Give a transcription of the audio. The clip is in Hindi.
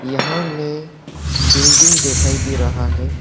यहां में बिल्डिंग दिखाई दे रहा है।